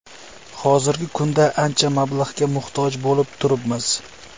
Hozirgi kunda ancha mablag‘ga muhtoj bo‘lib turibmiz.